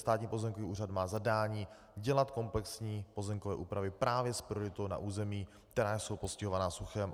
Státní pozemkový úřad má zadání dělat komplexní pozemkové úpravy právě s prioritou na území, která jsou postihována suchem.